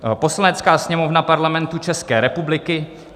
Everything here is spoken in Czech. "Poslanecká sněmovna Parlamentu České republiky